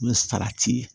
O ye salati ye